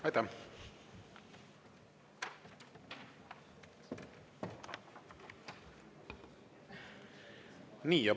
Aitäh!